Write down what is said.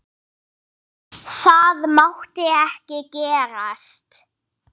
Það mátti ekki gerast.